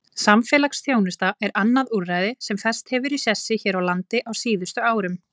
Samfélagsþjónusta er annað úrræði sem fest hefur í sessi hér á landi á síðustu árum.